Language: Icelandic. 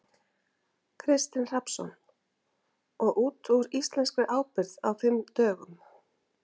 Kristinn Hrafnsson: Og út úr íslenskri ábyrgð á fimm dögum?